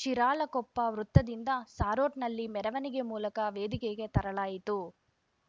ಶಿರಾಳಕೊಪ್ಪ ವೃತ್ತದಿಂದ ಸಾರೋಟ್‌ನಲ್ಲಿ ಮೆರವಣಿಗೆ ಮೂಲಕ ವೇದಿಕೆಗೆ ತರಲಾಯಿತು